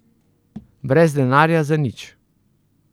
Brez denarja, za nič.